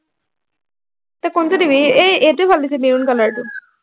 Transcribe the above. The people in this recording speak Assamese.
তই কোনটো দিবি, এই এইটোৱে ভাল লাগিছে maroon color টো